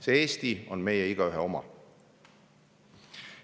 See Eesti on meie igaühe oma.